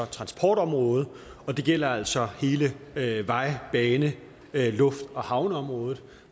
transportområdet og det gælder altså hele vej bane luft og havneområdet